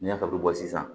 N'i y'a dɔn sisan